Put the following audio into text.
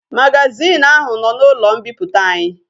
Magazin ahu no na ulo mpiputa anyi